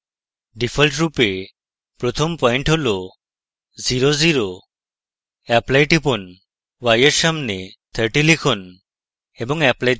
ডিফল্টরূপে প্রথম পয়েন্ট হল zero zero apply টিপুন y এর সামনে 30 লিখুন